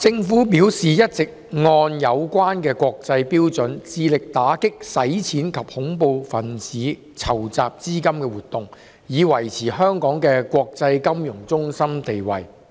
政府表示一直按有關的國際標準，致力打擊洗錢及恐怖分子籌集資金的活動，以維持香港的國際金融中心地位。